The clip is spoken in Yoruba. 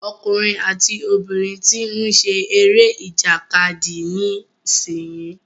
Ọkùnrin àti obìnrin tí ń ṣe eré ìjàkadì nísìyí.